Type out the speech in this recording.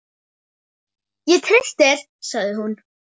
Ég treysti þér sagði hún.